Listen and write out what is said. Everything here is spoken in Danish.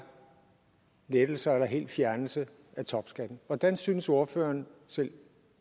lettelser eller helt fjernelse af topskatten hvordan synes ordføreren selv